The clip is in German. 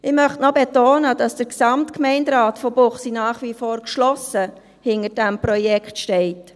Ich möchte noch betonen, dass der Gesamtgemeinderat von Münchenbuchsee nach wie vor geschlossen hinter diesem Projekt steht.